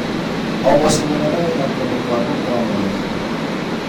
O mũciĩ mũnene wĩna kũndũ kwaguo kwa mwanya.